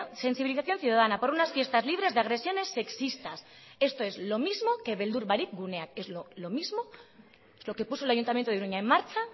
sensibilización ciudadana por unas fiestas libres de agresiones sexistas esto es lo mismo que beldur barik guneak es lo mismo lo que puso el ayuntamiento de iruña en marcha